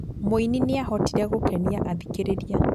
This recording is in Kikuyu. Muini nĩahotire gũkenia athikĩrĩria